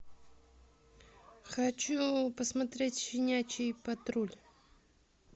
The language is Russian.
хочу посмотреть щенячий патруль